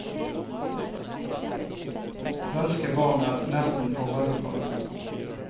Svenske barn er nesten for veloppdragne.